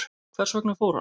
Hvers vegna fór hann?